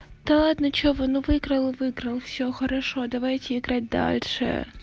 да ладно что вы ну выиграла выиграла всё хорошо давайте играть дальше